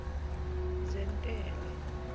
zentela